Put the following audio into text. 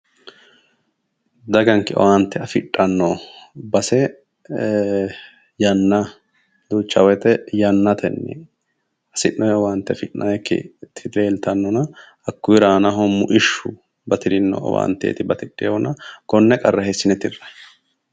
Daganke owaante afidhanno base yanna duucha wote yannatenni hasi'noyi owaante yannatenni afi'nayiikkiti leeltannona hakkuuyiira aanaho muishshu batirinno owaante batidhewoona konne qarra hiissine tirrayi?